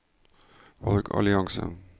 valgallianse